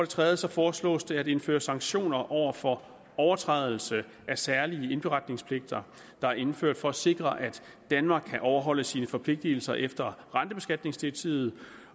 tredje foreslås det at indføre sanktioner over for overtrædelse af særlige indberetningspligter der er indført for at sikre at danmark kan overholde sine forpligtelser efter rentebeskatningsdirektivet